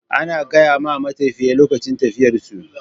Ana gayama matafiya lokacin tafiyar su